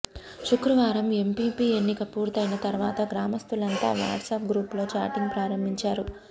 శుక్రవారం ఎంపీపీ ఎన్నిక పూర్తయిన తర్వాత గ్రామస్థులంతా వాట్సప్ గ్రూపులో చాటింగ్ ప్రారంభించారు